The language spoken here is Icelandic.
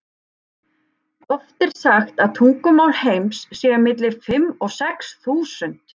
Oft er sagt að tungumál heims séu milli fimm og sex þúsund.